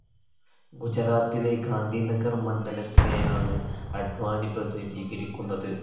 ഗുജറാത്തിലെ ഗാന്ധീനഗർ മണ്ഡലത്തിനെയാണ് അഡ്‌വാനി പ്രതിനിധീകരിക്കുന്നത്.